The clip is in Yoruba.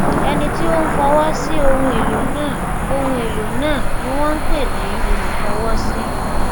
ẹni tí ó ń fọwọ sí ohun èlò náà ohun èlò náà ni wón ń pè ní olúfọwọsí